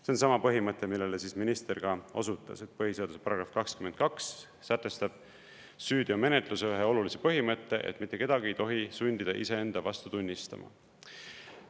See on seesama põhimõte, millele minister ka osutas, et põhiseaduse § 22 sätestab süüteomenetluse ühe olulise põhimõtte, et mitte kedagi ei tohi sundida iseenda vastu tunnistama.